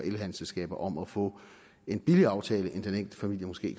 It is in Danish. elhandelsselskaber om at få en billigere aftale end den enkelte familie måske